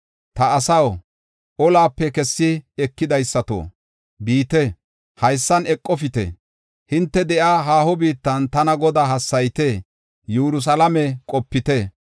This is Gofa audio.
Ta asaw, olape kessi ekidaysato, biite; haysan eqofite. Hinte de7iya haaho biittan tana Godaa hassayite; Yerusalaame qopite.”